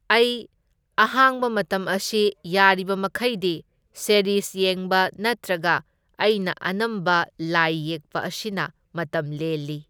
ꯑꯩ ꯑꯍꯥꯡꯕ ꯃꯇꯝ ꯑꯁꯤ ꯌꯥꯔꯤꯕ ꯃꯈꯩꯗꯤ ꯁꯦꯔꯤꯁ ꯌꯦꯡꯕ ꯅꯠꯇ꯭ꯔꯒ ꯑꯩꯅ ꯑꯅꯝꯕ ꯂꯥꯏ ꯌꯦꯛꯄ ꯑꯁꯤꯅ ꯃꯇꯝ ꯂꯦꯜꯂꯤ꯫